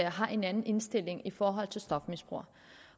har en anden indstilling i forhold til stofmisbrugere